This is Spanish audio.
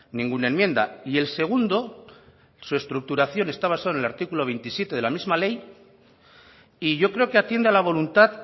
ninguna enmienda y el segundo su estructuración está basado en el artículo veintisiete de la misma ley y yo creo que atiende a la voluntad